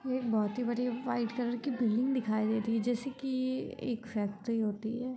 ये एक बोहोत ही बढ़िया व्हाइट कलर की बिल्डिंग दिखाई दे रही है जैसे कि एक फैक्ट्री होती है।